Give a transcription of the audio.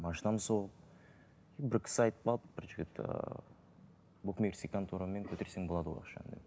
машинамды сол бір кісі айтып қалды бір че то букмекерский конторамен бітірсең болады ғой